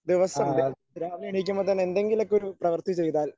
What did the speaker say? ദിവസം രാവിലെ എണീക്കുമ്പം തന്നെ എന്തെങ്കിലുമൊക്കെ ഒരു പ്രവർത്തി ചെയ്താൽ